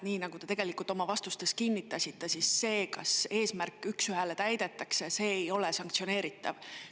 Nii nagu te oma vastustes kinnitasite, see, kas see eesmärk üks ühele täidetakse, ei ole sanktsioneeritav.